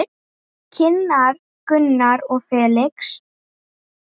Kynnar Gunnar og Felix.